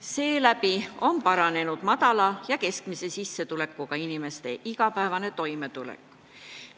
Seeläbi on paranenud madala ja keskmise sissetulekuga inimeste igapäevane toimetulek.